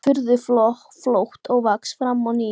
En tekur furðu fljótt að vaxa fram á ný.